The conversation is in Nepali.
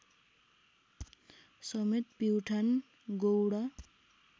समेत प्युठान गौडा